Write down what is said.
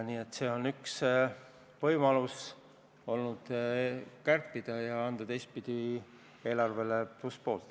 See aga on üks võimalus kärpida ja anda teistpidi eelarvele plusspoolt.